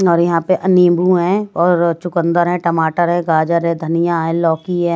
और यहां पे नींबू है और चुकंदर है टमाटर है गाजर है धनिया है लौकी है ।